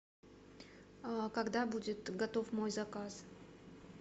когда будет готов мой заказ